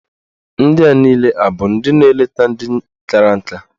Ndị a niile abụ ndị na-eleta ndị kara nka?